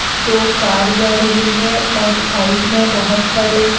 दो कार जा रहे है और साइड में बहुत सारे--